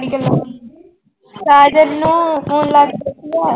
ਸਾਜਨ ਨੂੰ phone ਲਾ ਕੇ